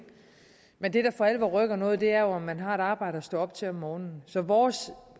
men det der for alvor rykker noget er jo om man har et arbejde at stå op til om morgenen så vores